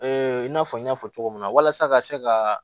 i n'a fɔ n y'a fɔ cogo min na walasa ka se ka